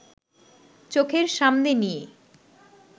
চোখের সামনে নিয়ে